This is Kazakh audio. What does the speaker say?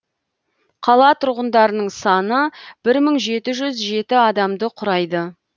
қала тұрғындарының саны бір мың жеті жүз жеті адамды құрайды